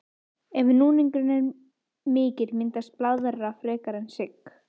Ef núningurinn er mikill myndast blaðra frekar en sigg.